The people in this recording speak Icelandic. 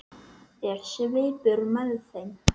Er svipur með þeim?